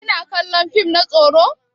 Kina kallon fim na tsoro?